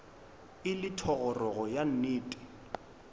e le thogorogo ka nnete